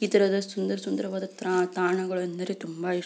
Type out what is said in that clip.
ಇದರ ಸುಂದರ ಸುಂದರವಾದ ತ್ರಣ ತಾಣಗಳೆಂದರೆ ತುಂಬ ಇಷ್ಟ.